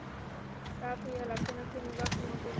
Gabriela, hvenær kemur vagn númer fimm?